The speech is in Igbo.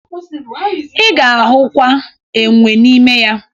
Ị ga-ahụkwa enwe n'ime ya